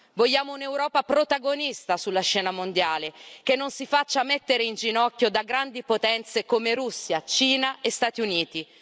Vogliamo un'Europa protagonista sulla scena mondiale, che non si faccia mettere in ginocchio da grandi potenze come Russia, Cina e Stati Uniti.